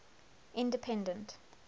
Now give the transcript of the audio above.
independent